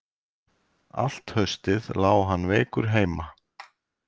Allt haustið lá hann veikur heima.